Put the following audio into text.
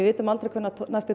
vitum aldrei hvenær næsti